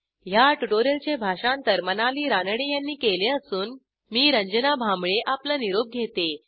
ह्या ट्युटोरियलचे भाषांतर मनाली रानडे यांनी केले असून मी आपला निरोप घेते